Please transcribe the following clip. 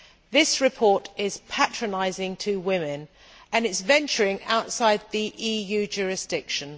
This report is patronising to women and it is venturing outside the EU jurisdiction.